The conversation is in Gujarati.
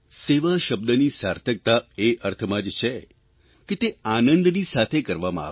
સેવા શબ્દની સાર્થકતા એ અર્થમાં જ છે કે તે આનંદની સાથે કરવામાં આવે